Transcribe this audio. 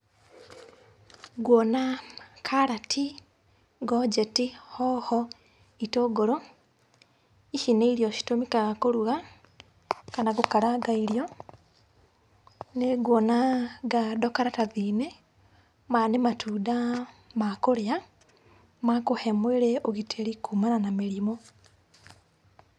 Nguona karati, ngonjeti hoho, itũngũrũ. Ici nĩ irio citũmĩkaga kũruga kana gũkaranga irio. Nĩnguona ngando karatathi-inĩ, maya nĩ matunda ma kũrĩa ma kũhe mwĩrĩ ũgitĩri kumana na mĩrimũ.